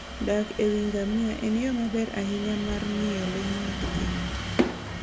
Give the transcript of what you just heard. Dak e wi ngamia en yo maber ahinya mar ng'iyo le mag thim.